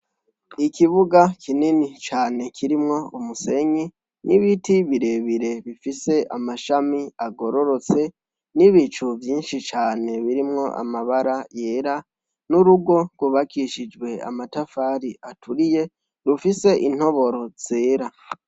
Ikibuga kinini cane, kirimwo umusenyi ,nibiti birebire bifise amashami agororotse nibicu vyinshi cane birimwo amabara yera nurugo rwubakishijwe amatafari aturiye rufise intobore zera.